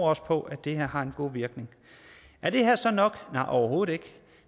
også på at det her har en god virkning er det her så nok nej overhovedet ikke